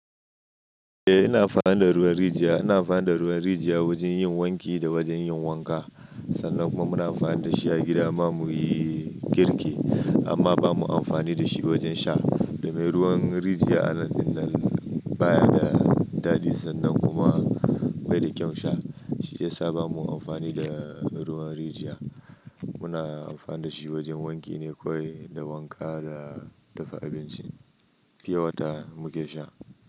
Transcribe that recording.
Eh, ina amfani da ruwan rijiya. Ina amfani da ruwan rijiya wajen yin wanki da wajen yin wanka. Sannan kuma muna amfani da shi a gida ma mu yi girki. Amma ba mu amfani da shi wajen sha. Domin ruwan rijiya anan baya da daɗi sannan kuma bai da kyan sha. Shi ya sa ba mu amfani da ruwan rijiya. Muna amfani da shi wajen wanki ne kawai, da wanka da dafa abinci. Fiye wa ta muke sha.